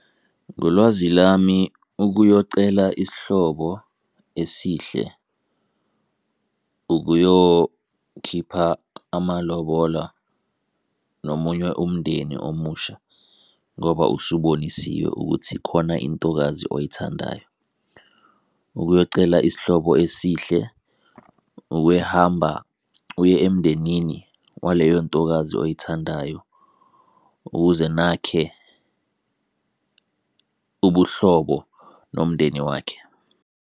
Ngolwazi lami ukuyocela isihlobo esihle ukuyokhipha amalobola nomunye umndeni omusha ngoba usibonisiwe ukuthi khona intokazi oyithandayo. Ukuyocela isihlobo esihle ukwehamba uye emndenini waleyo ntokazi oyithandayo, ukuze nakhe ubuhlobo nomndeni wakhe.